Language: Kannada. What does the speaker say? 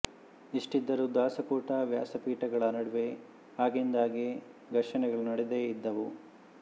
ಇಷ್ಟಿದ್ದರೂ ದಾಸಕೂಟ ವ್ಯಾಸಪೀಠಗಳ ನಡುವೆ ಆಗಿಂದಾಗ್ಗೆ ಘರ್ಷಣೆಗಳು ನಡೆದೇ ಇದ್ದವು